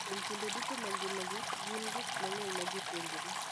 Kuom kinde duto mag ngimagi, gin gi gik mang'eny ma gipuonjore.